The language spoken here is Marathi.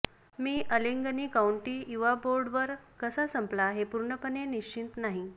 मी अलेंगनी काउंटी युवा बोर्डावर कसा संपला हे पूर्णपणे निश्चित नाही